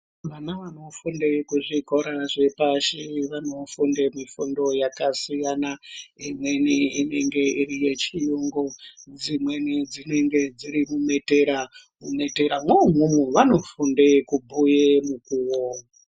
Vana vanofunde kuzvikora zvepashi vanofunde mifundo yakasiyana imweni inenge iri yechiyungu, dzimweni dzinenge dziri mumitera. Mumetera mwoumwomwo vanofunde kubhuye nguwa.